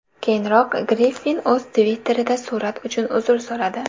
Keyinroq Griffin o‘z Twitter’ida surat uchun uzr so‘radi.